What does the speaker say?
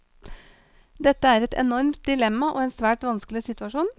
Dette er et enormt dilemma og en svært vanskelig situasjon.